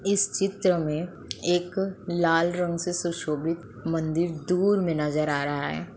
इस चित्र में एक लाल रंग से सुशोभित मंदिर दूर में नजर आ रहा है।